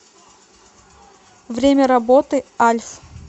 время работы альф